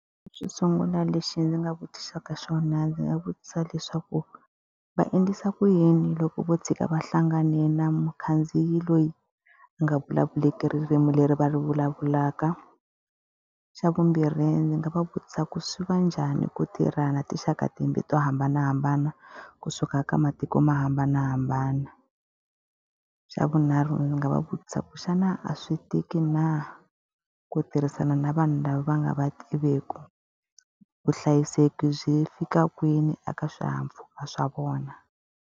Xo sungula lexi ndzi nga vutisaka xona ndzi nga vutisa leswaku, va endlisa ku yini loko vo tshika va hlangane na mukhandziyi loyi a nga vulavuleki ririmi leri va ri vulavulaka? Xa vumbirhi ndzi nga va vutisa ku swi va njhani ku tirhana tinxaka to hambanahambana kusuka ka matiko mo hambanahambana? Xa vunharhu ndzi nga va vutisa ku xana a swi tiki na ku tirhisana na vanhu lava va nga va tiveki? Vuhlayiseki byi fika kwini eka swihahampfuka swa vona?